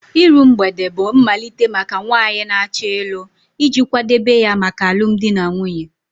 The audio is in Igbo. Iru mgbede bụ mmalite maka nwanyị na-achọ ịlụ iji kwadebe ya maka alụmdi na nwunye